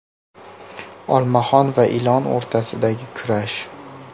Olmaxon va ilon o‘rtasidagi kurash.